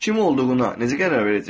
Kim olduğuna necə qərar verəcəksən?